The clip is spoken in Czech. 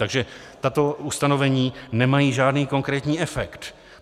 Takže tato ustanovení nemají žádný konkrétní efekt.